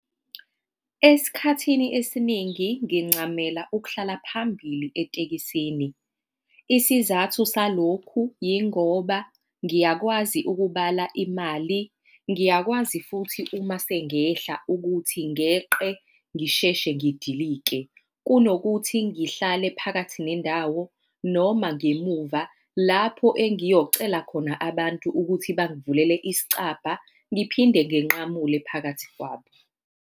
Esikhathini esiningi ngincamela ukuhlala phambili etekisini. Isizathu salokhu yingoba ngiyakwazi ukubala imali, ngiyakwazi futhi uma sengehla ukuthi ngeqe ngisheshe ngidilike kunokuthi ngihlale phakathi nendawo, noma ngemuva lapho engiyocela khona abantu ukuthi bangivulele isicabha ngiphinde nginqamule phakathi kwabo.